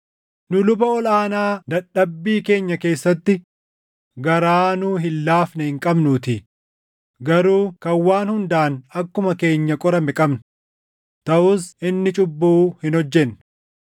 Nu luba ol aanaa dadhabbii keenya keessatti garaa nuu hin laafne hin qabnuutii; garuu kan waan hundaan akkuma keenya qorame qabna; taʼus inni cubbuu hin hojjenne.